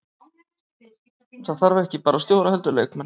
Það þarf ekki bara stjóra heldur leikmenn.